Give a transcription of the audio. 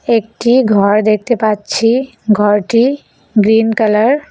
একটি ঘর দেখতে পাচ্ছি ঘরটি গ্রীন কালার ।